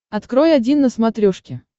открой один на смотрешке